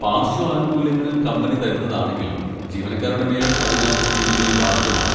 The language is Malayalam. പാർശ്വ ആനുകൂല്യങ്ങൾ കമ്പനി തരുന്നതാണെങ്കിലും ജീവനക്കാരുടെ മേൽ അതിന് നികുതി ബാധകമാവും.